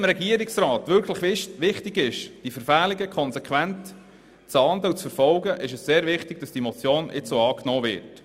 Wenn dem Regierungsrat wirklich wichtig ist, diese Verfehlungen konsequent zu ahnden und zu verfolgen, ist es sehr wichtig, dass diese Motion angenommen wird.